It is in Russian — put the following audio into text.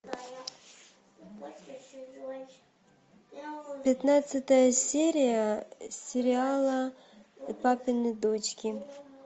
пятнадцатая серия сериала папины дочки